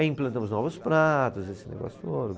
Aí implantamos novos pratos, esse negócio todo.